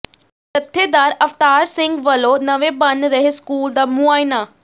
ਜਥੇਦਾਰ ਅਵਤਾਰ ਸਿੰਘ ਵੱਲੋਂ ਨਵੇਂ ਬਣ ਰਹੇ ਸਕੂਲ ਦਾ ਮੁਆਇਨਾ